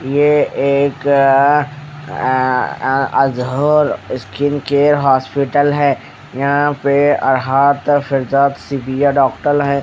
यह एक अ आझौल स्किन केयर हॉस्पिटल है यहां पे सिविर डॉक्टल है।